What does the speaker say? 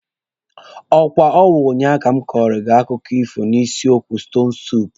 Akwa ọ wụ ụnyaahụ ka m kọrọ gị akụkọ ifo n'isiokwu stonu suupu?